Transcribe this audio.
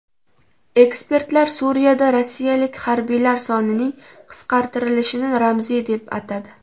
Ekspertlar Suriyada rossiyalik harbiylar sonining qisqartirilishini ramziy deb atadi.